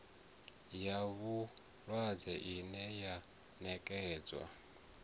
ya vhulwadze ine ya nekedzwa